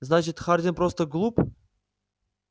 значит хардин просто глуп